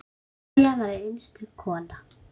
María var einstök kona.